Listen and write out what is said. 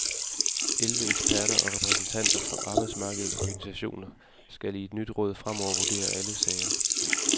Elleve eksperter og repræsentanter for arbejdsmarkedets organisationer skal i et nyt råd fremover vurdere alle sager.